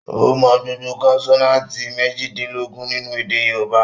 Ó mọ gbogbo kọ́nsọ́náátì mèjìdínlógún nínu èdè yóòbá